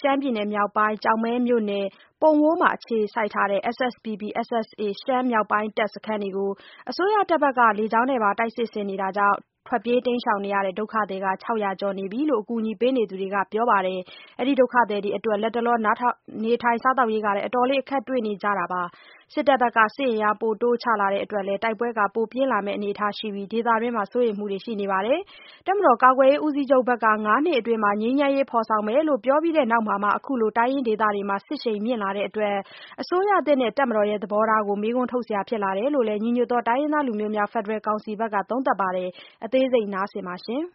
ရှမ်းပြည်နယ်မြောက်ပိုင်း ကျောက်မဲမြို့နယ် ပုံဝိုးမှာ အခြေစိုက်ထားတဲ့ SSPP/SSA မြောက်ပိုင်းတပ်စခန်းတွေကို အစိုးရတပ်ဘက်က လေကြောင်းနဲ့ပါ တိုက်စစ်ဆင်နေတာကြောင့် ထွက်ပြေးတိမ်းရှောင်နေရတဲ့ ဒုက္ခသည် ၆၀၀ ကျော်နေပြီလို့ အကူအညီပေးနေသူတွေကပြောပါတယ်။ အဲဒီ ဒုက္ခ သည်တွေအတွက် လတ်တလောမှာ နေထိုင်စားသောက်ရေး အတော်လေး အခက်တွေ့နေကြတယ်လို့လည်း ပြောပါတယ်။ စစ်တပ်ဘက်က စစ်အင်အား ပိုတိုး ချလာတဲ့အတွက် တိုက်ပွဲပိုပြင်းလာမယ့် အနေအထားရှိနေပြီး ဒေသတွင်း တည်ငြိမ်ရေး စိုးရိမ်နေကြပါတယ်။ တပ်မတော်ကာကွယ်ရေး ဦးစီးချုပ်ဘက်က ၅ နှစ်အတွင်း ငြိမ်းချမ်းရေးဖော်ဆောင်မယ်လို့ ပြောပြီးနောက်မှာမှ အခုလို တိုင်းရင်းဒေသတွေမှာ စစ်ရှိန်မြှင့်လာတာကြောင့် အစိုးရသစ်နဲ့ တပ်မတော် သဘောထားကို မေးခွန်းထုတ်စရာဖြစ်လာတယ်လို့လည်း ညီညွတ်သော တိုင်းရင်း သားလူမျိုးများ ဖက်ဒရယ်ကောင်စီ တွဲဖက်အတွင်းရေးမှူးက သုံးသပ်ပါတယ်။ မဆုမွန်က တင်ပြထားပါတယ်။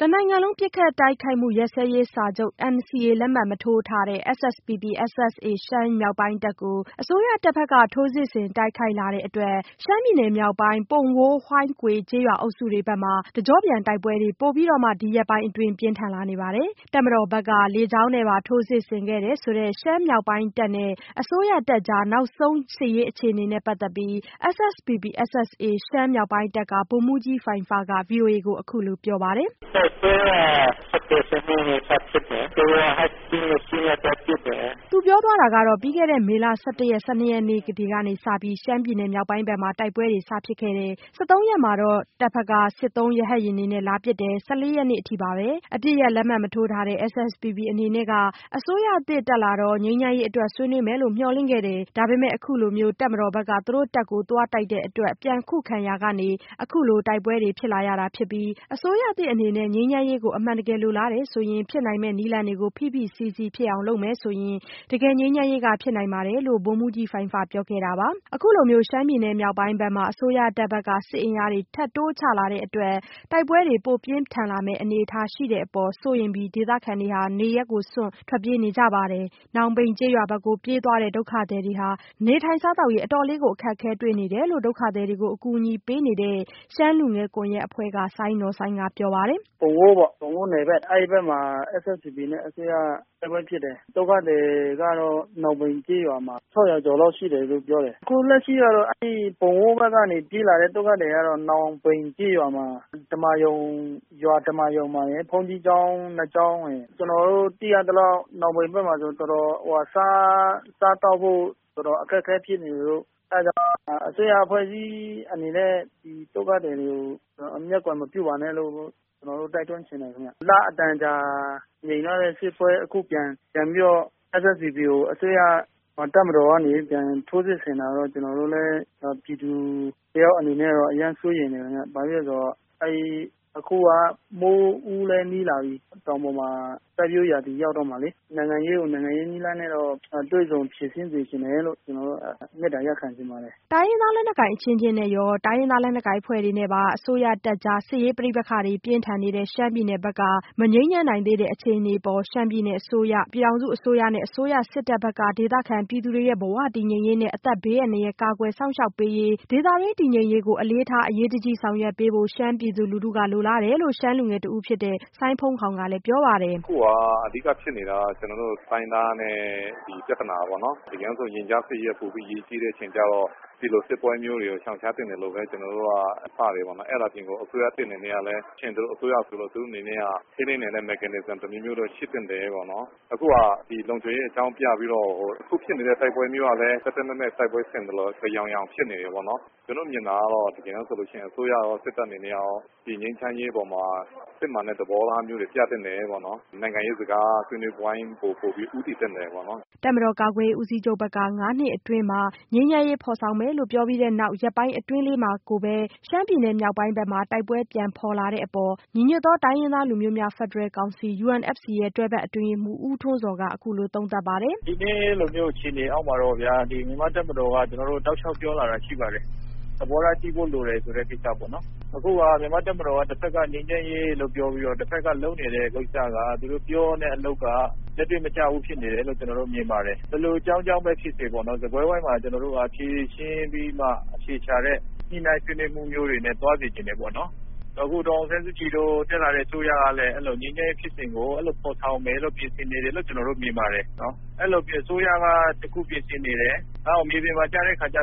တနိုင်ငံလုံး ပစ်ခတ်တိုက်ခိုက်မှုရပ်စဲရေးစာချုပ် NCA လက်မှတ်မထိုးထားတဲ့ SSPP/SSA ရှမ်းမြောက်ပိုင်းတပ်ကို အစိုးရတပ်ဘက်က ထိုးစစ်ဆင် တိုက်ခိုက်လာ တဲ့အတွက် ရှမ်းပြည်နယ်မြောက်ပိုင်း ပုံဝိုး-ဟိုင်းကွေ ကျေးရွာအုပ်စုတွေဘက်မှာ တကျော့ပြန်တိုက်ပွဲတွေ ပိုပြီးတော့မှ ဒီရက်ပိုင်းအတွင်း ပိုပြင်းထန်လာနေပါတယ်။ တပ်မတော်ဘက်က လေကြောင်းနဲ့ပါ ထိုးစစ်ဆင်ခဲ့တယ်ဆိုတဲ့ ရှမ်းမြောက်ပိုင်း တပ်နဲ့ အစိုးရတပ်ကြား နောက်ဆုံး စစ်ရေးအခြေအနေနဲ့ပတ်သက်ပြီး SSPP/SSA ရှမ်းမြောက်ပိုင်းတပ်က ဗိုလ်မှူးကြီးဖိုင်းဖက ဗွီအိုအေကို အခုလိုပြောပါတယ်။ “ပြီးခဲ့တဲ့ မေလ ၁၁ ရက်၊ ၁၂ ရက်နေ့တွေကစပြီး ရှမ်းမြောက်ပိုင်းဘက်မှာ တိုက်ပွဲတွေ စဖြစ်ခဲ့တယ်။ ၁၃ ရက်နေ့မှာတော့ စစ်သုံး ရဟတ်ယာဉ်တွေနဲ့ လာပစ်တယ် ၁၄ ရက်နေ့အထိပါပဲ။ အပစ်ရပ်လက်မှတ်မထိုးထားတဲ့ SSPP အနေနဲ့က အစိုးရသစ်တက်လာတော့ ငြိမ်းချမ်းရေးအတွက် ဆွေးနွေးမယ် လို့ မျှော်လင့်ခဲ့တယ်။ ဒါပေမဲ့ အခုလို တပ်မတော်ဘက်က တပ်ကို သွားတိုက်တဲ့ အတွက် ပြန်ခုခံရာကနေ အခုလိုတိုက်ပွဲတွေဖြစ်လာရတာ။ အစိုးရသစ်အနေနဲ့ ငြိမ်းချမ်းရေး အမှန်တကယ်လိုလားတယ်ဆိုရင် ဖြစ်နိုင်မယ့်နည်းလမ်းတွေကို ဖိဖိစီးစီးဖြစ်အောင် လုပ်မယ်ဆိုရင် တကယ်ငြိမ်းချမ်းရေး ဖြစ်နိုင်ပါတယ်။” အခုလိုမျိုး ရှမ်းပြည်နယ်မြောက်ပိုင်းဘက်မှာ အစိုးတပ်ဘက်က စစ်အင်အားတွေ ထပ်တိုးချလာတဲ့အတွက် တိုက်ပွဲ ပိုပြင်းထန်လာမယ့် အနေအထားရှိတဲ့အပေါ် စိုးရိမ်ပြီး ဒေသခံတွေ နေရပ်စွန့် ထွက်ပြေးကြတာပါ။ နောင်ပိန်ဘက်ကို ပြေးသွားတဲ့ ဒုက္ခသည်တွေ နေထိုင်စားသောက်ရေး အတော်လေး အခက်တွေ့နေတယ်လို့ ဒုက္ခသည်တွေကို အကူအညီပေးနေတဲ့ ရှမ်းလူငယ်တွေနဲ့ ရှမ်းလူထုအဖွဲ့ ပူးပေါင်း ဖွဲ့စည်းထားတဲ့ ရှမ်းလူငယ်ကွန်ရက်အဖွဲ့က စိုင်းနော်စိုင်းကပြောပါတယ်။ “ပုံဝိုး အဲဒီဘက်မှာ SSPP နဲ့ အစိုးရတိုက်ပွဲဖြစ်တယ်။ ဒုက္ခသည်တွေ ကတော့ နောင်ပိန်ကျေးရွာမှာ ၆၀၀ ကျော်လောက်ရှိတယ်လို့ပြောတယ်။ အခု လက်ရှိကတော့ ပုံဝိုးဘက်ကနေ ပြေးလာတဲ့လူကတော့ နောင်ပိန်ကျေးရွာ ဓမ္မာရုံမှာ ရယ်၊ဘုန်းကြီးကျောင်း ၂ ကျောင်းရယ် ကျနော်တို့ သိရသလောက် နောင်ပိန်ဘက် မှာဆိုရင် စားသောက်ဖို့ တော်တော်အခက်အခဲဖြစ်နေတယ်။ အစိုးရအဖွဲ့အစည်း အနေနဲ့ ဒီဒုက္ခသည်တွေကို မျက်ကွယ်မပြုပါနဲ့လို့ ကျနော်တို့ တိုက်တွန်းချင်တယ် ခင်ဗျ။ လအတန်ကြာ ငြိမ်သွားတဲ့စစ်ပွဲ အခုပြန်ပြီးတော့ SSPP ကို အစိုးရ တပ်မတော်ကနေပြန်ပြီးတော့ ထိုးစစ်ဆင်တာကိုတော့ ကျနော်တို့ လည်း ပြည်သူ တယောက်အနေနဲ့တော့ အရမ်းစိုးရိမ်တယ်ခင်ဗျ။ ဘာဖြစ်လို့လဲဆိုတော့ အခုက မိုးဦးလည်းနီးလာပြီ၊ တောင်ပေါ်မျာ စိုက်ပျိုးရာသီရောက်တော့ မှာလေ နိုင်ငံရး ကို နိုင်ငံရေးနည်းလမ်းနဲ့တော့ တွေ့ဆုံဖြေရှင်းစေချင်တယ်လို့ ကျနော်မေတ္တာရပ်ခံချင် ပါတယ်။” တိုင်းရင်းသားလက်နက်ကိုင်အချင်းချင်းရော တိုင်းရင်းသားလက်နက်ကိုင်အဖွဲ့နဲ့ အစိုးရတပ်ကြားပါ စစ်ရေးပဋိပက္ခတွေပြင်းထန်နေတဲ့ ရှမ်းပြည်နယ်ဘက်က မငြိမ်းချမ်းနိုင်သေးတဲ့အခြေအနေအပေါ် ရှမ်းပြည်နယ်အစိုးရ၊ ပြည်ထောင်စုအစိုးရနဲ့ အစိုးရစစ်တပ်ဘက်က ဒေသခံပြည်သူတွေရဲ့ ဘဝ တည်ငြိမ်ရေးနဲ့ အသက်ဘေးအန္တရာယ် ကာကွယ်စောင့်ရှောက်ပေးရေး၊ ဒေသတွင်းတည်ငြိမ်ရေးကို အလေးထား အရေးတကြီးဆောင်ရွက်ပေးဖို့ ရှမ်းပြည်သူလူထုက လိုလားတယ်လို့ ရှမ်းလူငယ်တဦးဖြစ်တဲ့ စိုင်းဖုန်းခေါင်ကလည်းပြောပါတယ်။ “အခုဟာက အဓိကဖြစ်နေတာက ကျနော်တို့ တိုင်းရင်းသားနဲ့ ပြဿနာပေါ့နော်။ လူမျိုးစု ရင်ကြားစေ့ရေးနဲ့ ပိုပြီးအရေးကြီးတဲ့အချိန်ကျတော့ ဒီလိုစစ်ပွဲမျိုးတွေ ကို ရှောင်ရှားသင့်တယ်လို့ပဲ ကျနော်တို့ပြောချင်တယ်ပေါ့နော်။ အဲဒါအပြင်ကိုပဲ ဒီ အစိုးရသစ်အနေနဲ့လည်း ထိန်းသိမ်းနိုင်တဲ့ Mechanism တမျိုးရှိသင့်တယ်ပေါ့နော်။ အခုဟာက လုံခြုံရေး အကြောင်းပြပြီးတော့ အခုဖြစ်နေတဲ့ တိုက်ပွဲမျိုးကလည်း သတ်သတ်မှတ်မှတ် တိုက်ပွဲဆင်သယောင်ယောင် ဖြစ်နေတယ်ပေါ့နော်။ ကျနော်မြင်တာကတော့ အစိုးရကော၊ စစ်တပ်အနေနဲ့ရော ဒီငြိမ်းချမ်းရေးပေါ်မှာ စစ်မှန်တဲ့သဘောထားမျိုးတွေ ပြသင့်တယ်ပေါ့နော်။ နိုင်ငံရေးစကားဆွေးနွေးပွဲဝိုင်း မျိုးတွေဘက်ကို ပိုပြီးဦးတည်သင့်တယ်ပေါ့နော်။” တပ်မတော်ကာကွယ်ရေးဦးစီးချုပ်ဘက်က ၅ နှစ်အတွင်း ငြိမ်းချမ်းရေးဖော်ဆောင် မယ်လို့ ပြောပြီးနောက် ရက်ပိုင်းလေးအတွင်းမှာကိုပဲ ရှမ်းပြည် မြောက်ပိုင်းမှာ တိုက်ပွဲပြန်ဖော်လာတဲ့အပေါ် ညီညွတ်သော တိုင်းရင်းသားလူမျိုးများ ဖက်ဒရယ်ကောင်စီ UNFC တွဲဖက်အတွင်းရေးမှုူး ဦးထွန်းဇော်က အခုလိုသုံးသပ် ပါတယ်။ “ဒီနေ့လိုမျိုး အခြေအနေအောက်မှာတော့ ဗျာ မြန်မာ့တပ်မတော် က တောက်လျှောက် ပြောလာတာရှိပါတယ်။ သဘောထားကြီးဖို့လိုတယ်ဆိုတဲ့ ကိစ္စမျိုးတွေပေါ့နော်။ အခုက မြန်မာ့တပ်မတော်က ငြိမ်းချမ်းရေးလို့ တဘက် က ပြောပြီးတော့ တဘက်က လုပ်နေတဲ့ကိစ္စကတော့ အပြောနဲ့အလုပ်က လက်တွေ့မကျဘူးလို့ ကျနော်တို့မြင်ပါတယ်။ ဘယ်လိုအကြောင်းကြောင့် ပဲဖြစ်စေပေါ့နော် စားပွဲဝိုင်းမှာ ဖြေရှင်းပြီးမှ အဖြေရှာတဲ့ ညှိနှိုင်းဆွေးနွေးမှုမျိုးတွေနဲ့ သွားစေချင်တယ်ပေါ့နော်။ အခု ဒေါ်အောင်ဆန်းစုကြည်တို့ တက်လာတဲ့အစိုးရက လည်း ငြိမ်းချမ်းရေးဖြစ်စဉ်ကို အဲဒီလိုဖော်ဆောင်မယ်လို့ ပြင်ဆင်နေတယ်လို့ ကျနော်တို့မြင်ပါတယ်။ အဲဒီလိုအစိုးရက တခုပြင်ဆင်နေ တယ်၊ နောက်မြေပြင်မှာ ကျ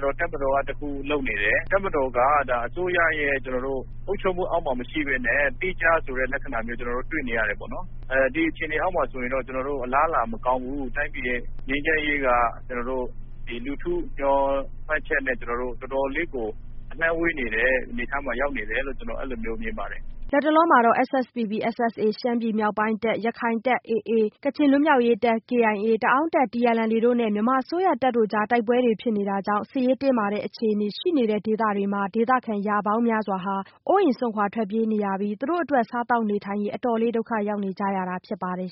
တော့ တပ်မတော်က တခုလုပ်နေတယ်။ တပ်မတော်က ဒါ အစိုးရရဲ့ အုပ်ချုပ် မှုအောက်မှာမရှိပဲနဲ့ သီးခြားဆိုတဲ့ လက္ခဏာမျိုးတွေ့နေရတယ်။ ဒီအခြေအနေ ဆိုရင်တော့ အလားအလာမကောင်းဘူး။ တိုင်းပြည်ရဲ့ ငြိမ်းချမ်းရေးက လူထု ရည်မှန်းချက်နဲ့ တော်တော်လေးကို ဝေးနေတဲ့အနေအထားမှာ ရောက်နေတယ်လို့ ကျနော်တို့မြင်ပါတယ်။” လတ်တလောမှာတော့ SSPP/SSA North ရှမ်းပြည်မြောက်ပိုင်းတပ်၊ ရခိုင်တပ် AA၊ ကချင်လွတ်မြောက်ရေးတပ် KIA ၊ တအာင်းတပ် TNLA တို့နဲ့ မြန်မာအစိုးရတပ်တို့ ကြား တိုက်ပွဲဖြစ်တာတွေကြောင့် စစ်ရေးတင်းမာတဲ့အခြေအနေ ရှိနေတဲ့ဒေသတွေ မှာ ဒေသခံရာပေါင်းများစွာဟာ အိုးအိမ်စွန့်ခွာထွက်ပြေးနေရပြီး စားသောက်နေ ထိုင်ရေး အတော်လေးဒုက္ခရောက်နေကြရတာဖြစ်ပါတယ်